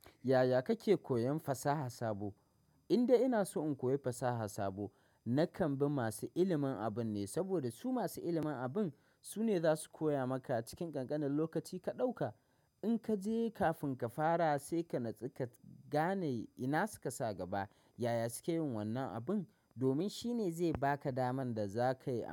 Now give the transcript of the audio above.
Yaya kake koyan fasaha sabo? Indai ina so in koyi fasaha sabo, na kan bi masu ilimin abun ne. Saboda su masu ilimin abun sune za su koya maka a cikin ƙanƙanin lokaci ka ɗauka. In ka je kafin ka fara sai ka natsu ka gane ina suka sa gaba. Yaya suke yin wannan abin? Domin shi ne zai baka daman da za ka yi.